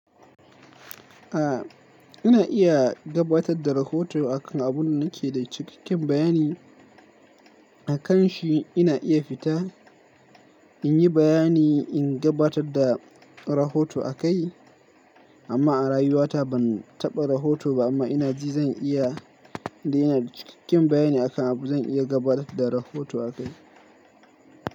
A ina iya gabatar da rahoto akan abun da nake da cikakken bayani akan shi. Ina iya fita in yi bayani in gabatar da rahoto akai, amma a rayuwata ban taɓa rahoto ba amma ina ji zan iya, da ina da cikakken bayani akan abu zan iya gabatar da rahoto akai.